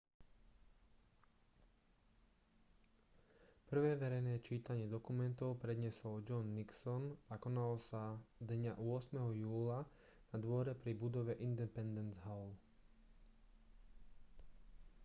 prvé verejné čítanie dokumentu predniesol john nixon a konalo sa dňa 8. júla na dvore pri budove independence hall